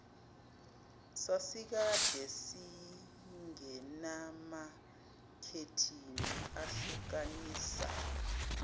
sasikade singenamakhethini ahlukanisa